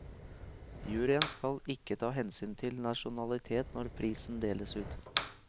Juryen skal ikke ta hensyn til nasjonalitet når prisen deles ut.